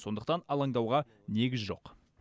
сондықтан алаңдауға негіз жоқ